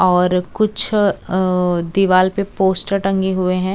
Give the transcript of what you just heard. और कुछ औ दीवाल पे पोस्टर टंगे हुए है।